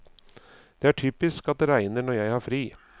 Det er typisk at det regner når jeg har fri.